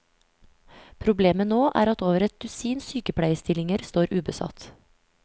Problemet nå er at over et dusin sykepleierstillinger står ubesatt.